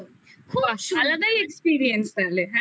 আলাদাই experience তাহলে হ্যাঁ